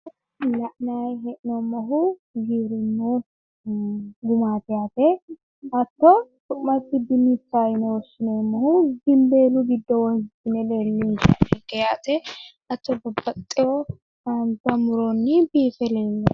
La'nayi hee'noommohu giwirinnu gumaati yaate. Hatto su'masi dinnichaho yine woshshineemmohu gimboolu giddo wonshine lellinshanninke yaate hatto babbaxxewo haanja muronni biife leellanno